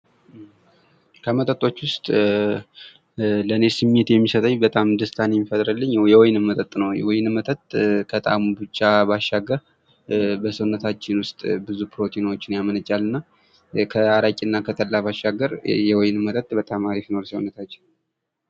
ከመጠጦች ውስጥ ለእኔ ስሜት የሚሰጠኝ በጣም ደስታን የሚፈጥርልኝ የወይን መጠጥ ነው ። የወይን መጠጥ ከጣሙ ብቻ ባሻገር በሰውነታችን ውስጥ ብዙ ፕሮቲኖችን ያመነጫልና እና ከአረቄ እና ከጠላ ባሻገር የወይን መጠጥ በጣም አሪፍ ነው ለሰውነታችን ።